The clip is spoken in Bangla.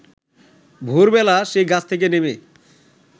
ভোরবেলা সে গাছ থেকে নেমে